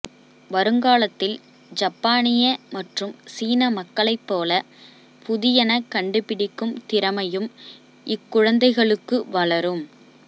வருங்காலத்தில் ஜப்பானிய மற்றும் சீன மக்களை போல புதியன கண்டுபிடிக்கும் திறமையும் இக்குழந்தைகளுக்கு வளரும்